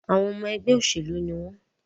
Àwọn ọmọ ẹgbẹ́ òṣèlú ní wọ́n.